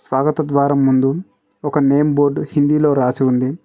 స్వాగత ద్వారం ముందు ఒక నేమ్ బోర్డు హిందీలో రాసి ఉంది.